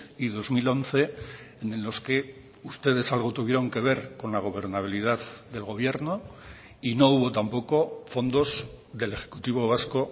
y dos mil once en los que ustedes algo tuvieron que ver con la gobernabilidad del gobierno y no hubo tampoco fondos del ejecutivo vasco